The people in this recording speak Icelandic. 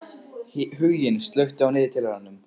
Huginn, slökktu á niðurteljaranum.